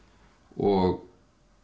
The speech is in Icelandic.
og